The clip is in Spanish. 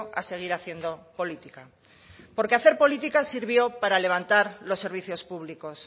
a seguir haciendo política porque hacer política sirvió para levantar los servicios públicos